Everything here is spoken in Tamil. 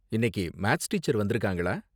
இன்னைக்கு மேத்ஸ் டீச்சர் வந்துருக்காங்களா?